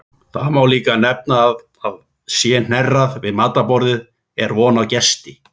Þá má líka nefna að sé hnerrað við matarborðið er von á gesti.